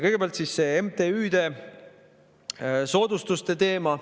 Kõigepealt see MTÜ-de soodustuste teema.